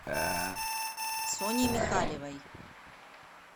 соней михалевой